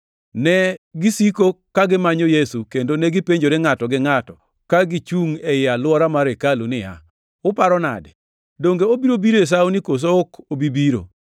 Negisiko ka gimanyo Yesu, kendo negipenjore ngʼato gi ngʼato, ka gichungʼ ei alwora mar hekalu niya, “Uparo nade? Donge obiro biro e sawoni koso ok obi biro?”